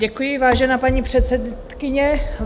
Děkuji, vážená paní předsedkyně.